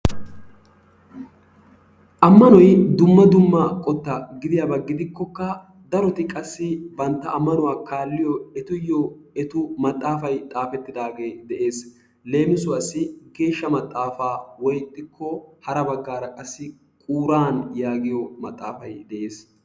Ammanoy dumma dumma qootta gidiyaaba gidikkokka daroti qassi bantta ammanuwaa kaalliyoo etuyoo etu maaxafay xaafettidaagee de'ees. Leemissuwaasi geeshsha maxaafaa woy ixxiko hara baggaara qassi quuraan yaagiyoo maaxafay de'ees.